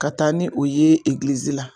Ka taa ni o ye la.